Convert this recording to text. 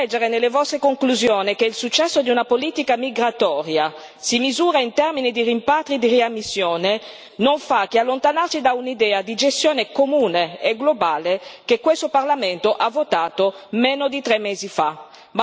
Leggere nelle vostre conclusioni che il successo di una politica migratoria si misura in termini di rimpatri e di riammissioni non fa che allontanarci da un'idea di gestione comune e globale che questo Parlamento ha votato meno di tre mesi fa